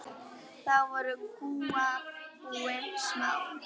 Þá voru kúabúin smá.